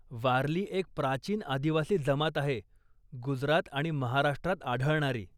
वारली एक प्राचीन आदिवासी जमात आहे गुजरात आणि महाराष्ट्रात आढळणारी.